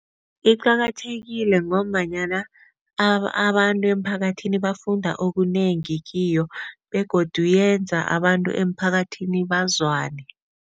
Iqakathekile ngombanyana abantu emphakathini bafunda okunengi kiyo begodu yenza abantu emphakathini bazwane.